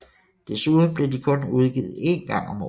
Desuden blev de kun udgivet en gang om året